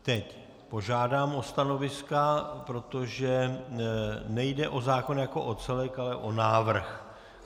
Teď požádám o stanoviska, protože nejde o zákon jako celek, ale o návrh.